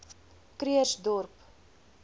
krugersdorp